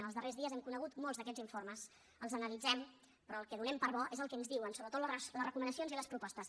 en els darrers dies hem conegut molts d’aquests informes els analitzem però el que donem per bo és el que ens diuen sobretot les recomanacions i les propostes